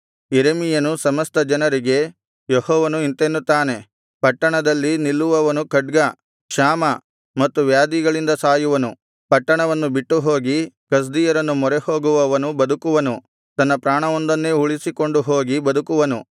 ಯೆರೆಮೀಯನು ಸಮಸ್ತ ಜನರಿಗೆ ಯೆಹೋವನು ಇಂತೆನ್ನುತ್ತಾನೆ ಪಟ್ಟಣದಲ್ಲಿ ನಿಲ್ಲುವವನು ಖಡ್ಗ ಕ್ಷಾಮ ಮತ್ತು ವ್ಯಾಧಿಗಳಿಂದ ಸಾಯುವನು ಪಟ್ಟಣವನ್ನು ಬಿಟ್ಟುಹೋಗಿ ಕಸ್ದೀಯರನ್ನು ಮೊರೆಹೋಗುವವನು ಬದುಕುವನು ತನ್ನ ಪ್ರಾಣವೊಂದನ್ನೇ ಉಳಿಸಿಕೊಂಡು ಹೋಗಿ ಬದುಕುವನು